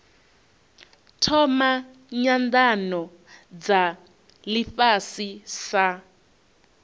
thoma nyanano dza ifhasi sa